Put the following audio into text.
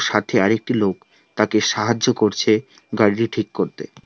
সাথে আরেকটি লোক তাকে সাহায্য করছে গাড়িটি ঠিক করতে।